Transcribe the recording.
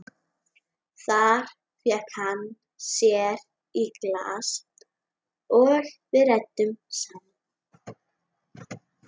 Þar fékk hann sér í glas og við ræddum saman.